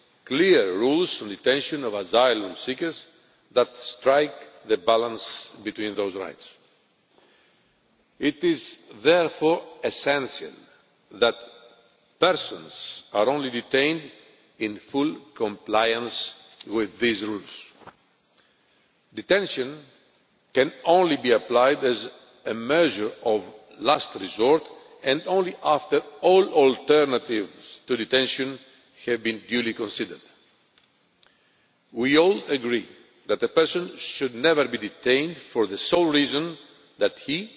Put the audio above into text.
clear rules on detention of asylum seekers that strike a balance between those rights. It is therefore essential that persons are only detained in full compliance with these rules. Detention can only be applied as a measure of last resort, and only after all alternatives to detention have been duly considered. We all agree that a person should never be detained for the sole reason that